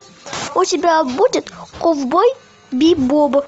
у тебя будет ковбой бибоп